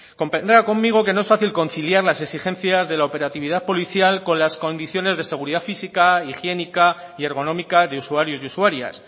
convendrá conmigo que no es fácil conciliar las exigencias de la operatividad policial con las condiciones de seguridad física higiénica y ergonómica de usuarios y usuarias